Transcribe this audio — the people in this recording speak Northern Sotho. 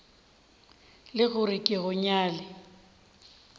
le gore ke go nyale